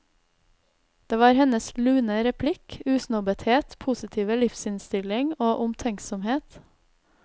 Det var hennes lune replikk, usnobbethet, positive livsinnstilling og omtenksomhet.